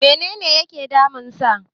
menene yake damunsa?